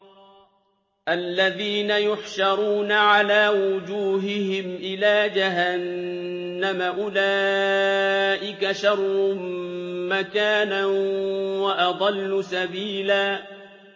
الَّذِينَ يُحْشَرُونَ عَلَىٰ وُجُوهِهِمْ إِلَىٰ جَهَنَّمَ أُولَٰئِكَ شَرٌّ مَّكَانًا وَأَضَلُّ سَبِيلًا